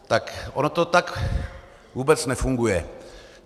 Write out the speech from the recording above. Tak ono to tak vůbec nefunguje.